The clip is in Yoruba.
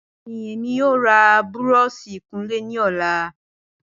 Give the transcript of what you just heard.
Bẹẹni, Emi yoo ra búrọ̀ọ̀sì ìkunlé ni ọla.